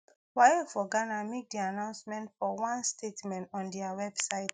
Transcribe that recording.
waec for ghana make di announcement for one statement on dia website